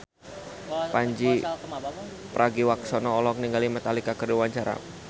Pandji Pragiwaksono olohok ningali Metallica keur diwawancara